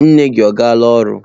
Nne gi ọ gala oru?